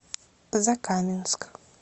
закаменск